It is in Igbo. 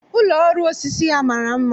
Ụlọ ọrụ osisi ya mara mma